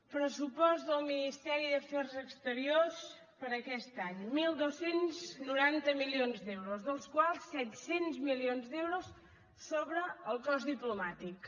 pressupost del ministeri d’afers exteriors per a aquest any dotze noranta milions d’euros dels quals set cents milions d’euros sobre el cos diplomàtic